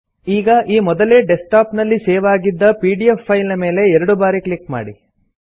ಈಗ ಈ ಮೊದಲೇ ಡೆಸ್ಕ್ ಟಾಪ್ ನಲ್ಲಿ ಸೇವ್ ಆಗಿದ್ದ ಪಿಡಿಎಫ್ ಫೈಲ್ ನ ಮೇಲೆ ಎರಡು ಬಾರಿ ಕ್ಲಿಕ್ ಮಾಡಿ